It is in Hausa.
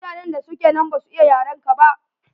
Mutanen da suke nan ba su iya yarenka ba.